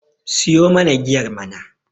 siyo mana giyar mana!